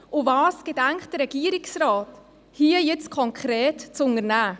Was gedenkt der Regierungsrat hier jetzt konkret zu unternehmen?